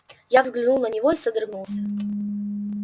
я взглянул на него и содрогнулся